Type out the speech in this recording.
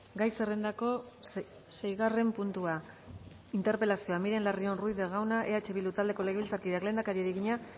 gai zerrendako seigarren puntua interpelazioa miren larrion ruiz de gauna eh bildu taldeko legebiltzarkideak lehendakariari egina